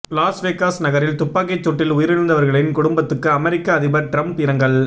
Las Vegas நகரில் துப்பாக்கிச்சூட்டில் உயிரிழந்தவர்களின் குடும்பத்துக்கு அமெரிக்க அதிபர் டிரம்ப் இரங்கல்